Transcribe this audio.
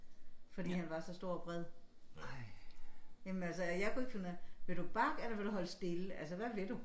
Fordi han var så stor og bred. Jamen altså jeg kunne ikke finde ud af vil du bakke eller vil du holde stille altså hvad vil du